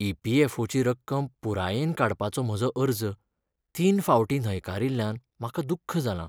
E. P. F. O. ची रक्कम पुरायेन काडपाचो म्हजो अर्ज तीन फावटीं न्हयकारील्ल्यान म्हाका दुख्ख जालां.